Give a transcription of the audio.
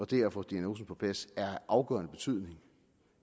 det at få diagnosen på plads er af afgørende betydning